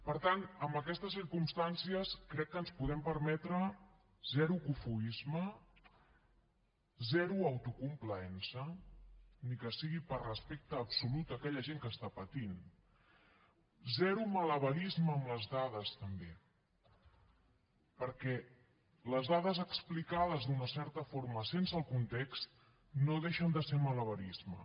per tant amb aquestes circumstàncies crec que ens podem permetre zero cofoisme zero autocomplaença ni que sigui per respecte absolut a aquella gent que està patint zero malabarisme amb les dades també perquè les dades explicades d’una certa forma sense el context no deixen de ser malabarisme